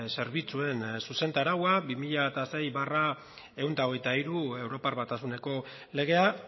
zerbitzuen zuzentaraua bi mila sei barra ehun eta hogeita hiru europar batasuneko legea